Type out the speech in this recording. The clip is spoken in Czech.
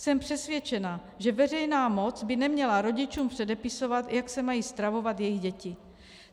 Jsem přesvědčena, že veřejná moc by neměla rodičům předepisovat, jak se mají stravovat jejich děti.